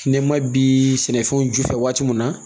Ne ma bi sɛnɛfɛnw ju fɛ waati mun na